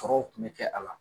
Tɔɔrɔw kun bɛ kɛ ala la.